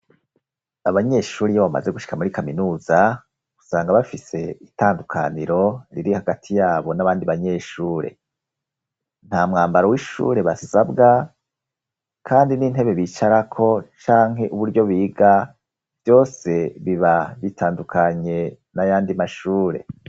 Abanyeshure iyo bamaze gushika muri kaminuza usanga bafise itandukaniro riri hagati yabo n'abandi banyeshure. Nta mwambaro w'ishure basabwa, kandi n'intebe bicarako canke uburyo biga vyose biba bitandukanye n'ayandi mashure.